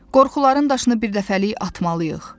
Qorxudan daşını birdəfəlik atmalıyıq.